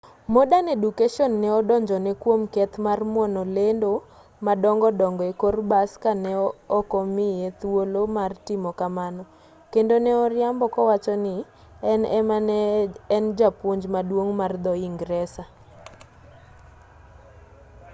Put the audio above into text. modern education ne odonjone kwom keth mar muono lendo madongo dongo e kor bas ka ne ok omiye thuolo mar timo kamano kendo ne oriambo kowacho ni en ema ne en japuonj maduong' mar dho-ingresa